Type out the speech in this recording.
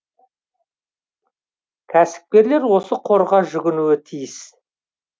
кәсіпкерлер осы қорға жүгінуі тиіс